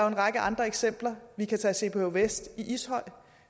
en række andre eksempler vi kan tage cph west i ishøj